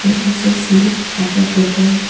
And also see water bottle.